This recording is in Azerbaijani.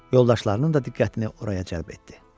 Yoldaşlarının da diqqətini oraya cəlb etdi.